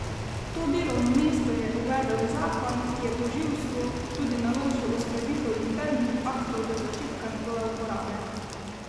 To delovno mesto je uvedel zakon, ki je tožilstvu tudi naložil uskladitev internih aktov do začetka njegove uporabe.